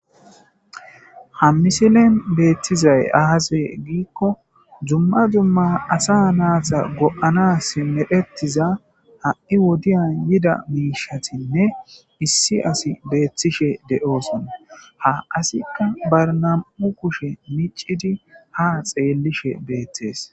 ha misilen beettizay aase giikko dzumma dumma asa naasa go7ana simerettiza ha7i wodiyan yida miishatinne issi asi beettishe de7oosona ha asikka barna7u kushe micidi ha xeellishe beethtees